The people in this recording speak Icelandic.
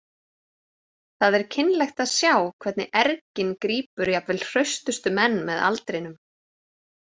Það er kynlegt að sjá hvernig ergin grípur jafnvel hraustustu menn með aldrinum.